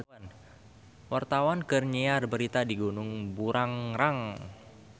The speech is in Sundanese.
Wartawan keur nyiar berita di Gunung Burangrang